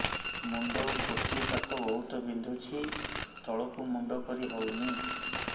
ମୁଣ୍ଡ ଗୋଟିଏ ପାଖ ବହୁତୁ ବିନ୍ଧୁଛି ତଳକୁ ମୁଣ୍ଡ କରି ହଉନି